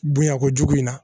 Bonya ko jugu in na